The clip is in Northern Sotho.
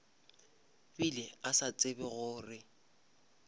bile a sa tsebe gore